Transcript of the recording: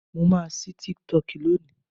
mo ma sí TikTok loni